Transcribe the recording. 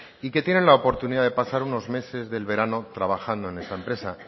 y que tienen la oportunidad de pasar unos meses del verano trabajando en esa empresa